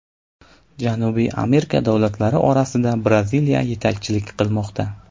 Janubiy Amerika davlatlari orasida Braziliya yetakchilik qilmoqda.